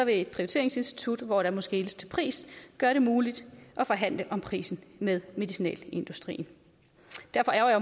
et prioriteringsinstitut hvor der må skeles til pris gøre det muligt at forhandle om prisen med medicinalindustrien derfor ærgrer